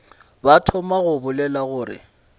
ba thoma go bolela gore